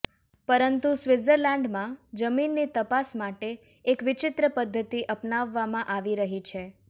પરંતુ સ્વિટ્ઝરલેન્ડમાં જમીનની તપાસ માટે એક વિચિત્ર પદ્ધતિ અપનાવવામાં આવી રહી છે